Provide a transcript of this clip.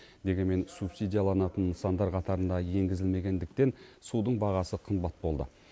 дегенмен субсидияланатын нысандар қатарына енгізілмегендіктен судың бағасы қымбат болды